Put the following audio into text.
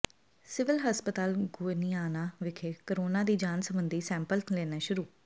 civil ਹਸਪਤਾਲ ਗੋਨਿਆਣਾ ਵਿਖੇ corona ਦੀ ਜਾਂਚ ਸਬੰਧੀ ਸੈਂਪਲ ਲੈਣੇ ਸ਼ੁਰੂ